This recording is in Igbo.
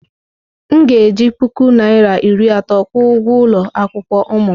M ga-eji puku naira iri atọ kwụọ ụgwọ ụlọ akwụkwọ ụmụ m.